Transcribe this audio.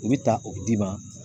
U bɛ ta o bi d'i ma.